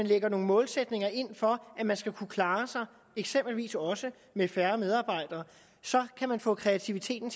lægger nogle målsætninger ind for at man skal kunne klare sig eksempelvis også med færre medarbejdere så kan man få kreativiteten